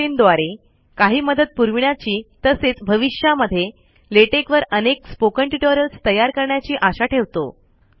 आम्ही foseeइन द्वारे काही मदत पुरविण्याची तसेच भविष्या मध्ये लेटेक वर अनेक स्पोकन ट्यूटोरियल्स तयार करण्याची आशा ठेवतो